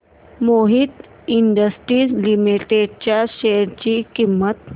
Mohit industries limited च्या share ची किंमत